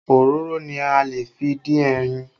Òróró ni a lè fi dín ẹyin